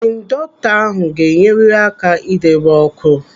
Indọktọ ahụ ga-enyerịrị aka idebe ọkụ.